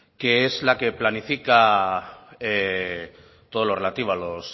que es la que planifica todo lo relativo a los